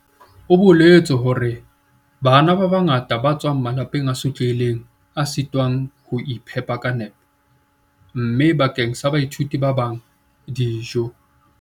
O boletse hore "Bana ba bangata ba tswa malapeng a sotlehileng a sitwang ho iphepa ka nepo, mme bakeng sa baithuti ba bang, dijo"